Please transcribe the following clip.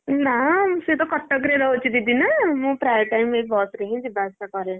ନା ସେ ତ କଟକରେ ରହୁଛି ଦିଦି ନା। ମୁଁ ପ୍ରାୟ time ଏ ବସ ରେ ହିଁ ଯିବା ଆସିବା କରେ।